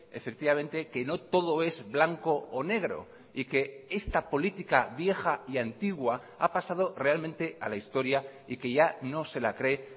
efectivamente que no todo es blanco o negro y que esta política vieja y antigua ha pasado realmente a la historia y que ya no se la cree